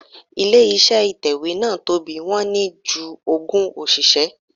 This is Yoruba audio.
Ilé iṣẹ́ ìtẹ̀wẹ́ náà tóbi, wọ́n ní ju ogún òṣìṣẹ́.